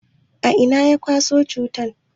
A'ina ya kwaso cutan?